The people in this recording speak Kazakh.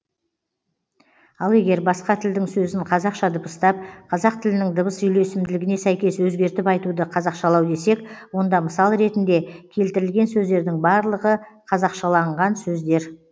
ал егер басқа тілдің сөзін қазақша дыбыстап қазақ тілінің дыбыс үйлесімділігіне сәйкес өзгертіп айтуды қазақшалау десек онда мысал ретінде келтірілген сөздердің барлығы қазақшаланған сөздер